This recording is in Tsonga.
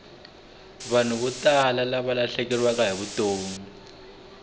vanhu vo tala valahlekeriwile hi vutomi